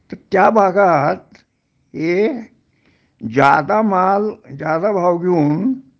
तर त्या भागात हे ज्यादा माल ज्यादा भाव घेऊन